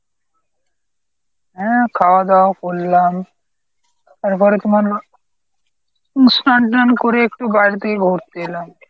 হ্যাঁ খাওয়া দাওয়া করলাম। এরপরে তোমার উম স্নান টান করে একটু বাইরে থেকে ঘুরতে এলাম।